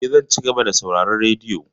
Eh, zan cigaba da sauraron radiyo.